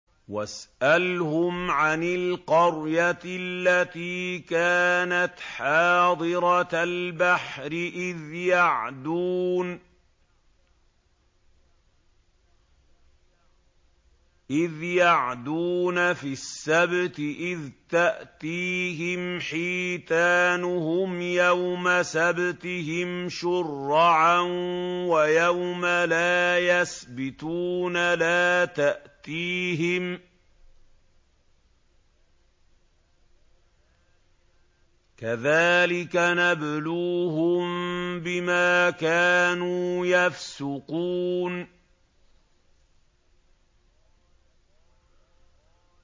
وَاسْأَلْهُمْ عَنِ الْقَرْيَةِ الَّتِي كَانَتْ حَاضِرَةَ الْبَحْرِ إِذْ يَعْدُونَ فِي السَّبْتِ إِذْ تَأْتِيهِمْ حِيتَانُهُمْ يَوْمَ سَبْتِهِمْ شُرَّعًا وَيَوْمَ لَا يَسْبِتُونَ ۙ لَا تَأْتِيهِمْ ۚ كَذَٰلِكَ نَبْلُوهُم بِمَا كَانُوا يَفْسُقُونَ